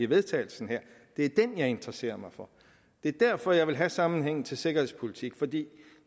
vedtagelse som jeg interesserer mig for det er derfor jeg vil have sammenhængen til sikkerhedspolitik fordi